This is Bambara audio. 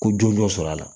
Ko jɔn jɔn sɔrɔ la